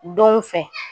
Donw fɛ